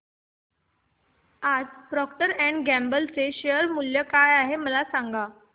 आज Procter and Gamble चे share मूल्य किती आहे मला सांगा